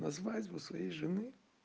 на свадьбу своей жены